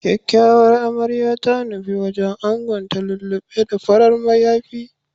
Kyakyawar Amarya ta nufi wajen angonta lullu6e da farar mayafi.